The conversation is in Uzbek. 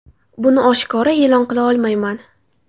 Buni oshkora e’lon qila olmayman.